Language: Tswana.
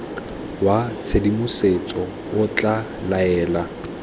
wa tshedimosetso o tla laela